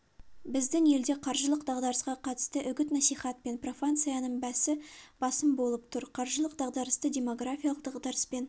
біздің елде қаржылық дағдарысқа қатысты үгіт-насихат пен профанцияның бәсі басым болып тұр қаржылық дағдарысты демографиялық дағдарыспен